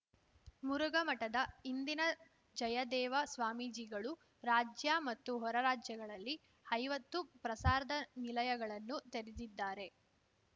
ಮುರುಘಾಮಠದ ಹಿಂದಿನ ಜಯದೇವ ಸ್ವಾಮೀಜಿಗಳು ರಾಜ್ಯ ಮತ್ತು ಹೊರರಾಜ್ಯಗಳಲ್ಲಿ ಐವತ್ತು ಪ್ರಸಾರ್ದ ನಿಲಯಗಳನ್ನು ತೆರೆದಿದ್ದಾರೆ